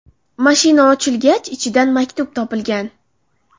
Mashina ochilgach, ichidan maktub topilgan.